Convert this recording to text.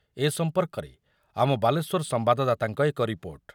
ଏ ସମ୍ପର୍କରେ ଆମ ବାଲେଶ୍ୱର ସମ୍ବାଦଦାତାଙ୍କ ଏକ ରିପୋର୍ଟ